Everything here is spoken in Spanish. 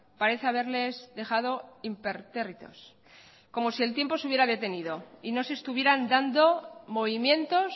parece haberles dejado impertérritos como si el tiempo se hubiera detenido y no se estuvieran dando movimientos